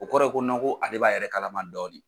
O kɔrɔ ye ko ko ale b'a yɛrɛ kalama dɔɔni.